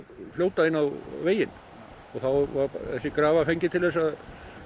fljóta inn á veginn og þá var þessi grafa fengin til að